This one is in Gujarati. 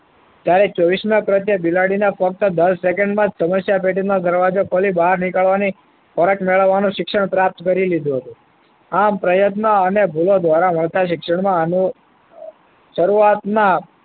ત્યારે ચોવીસ માં પ્રત્યે બિલાડીના ફક્ત દસ સેકન્ડમાં સમસ્યા પેટીનો દરવાજો ખોલી બહાર નીકળવાની ફરજ મેળવવાની શિક્ષણ પ્રાપ્ત કરી લીધું હતું આમ પ્રયત્ન અને ભૂલો દ્વારા મળતા શિક્ષણમાં આનું શરૂઆતમાં